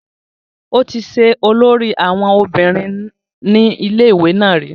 ó ti ṣe olórí àwọn obìnrin ní ilé ìwé náà rí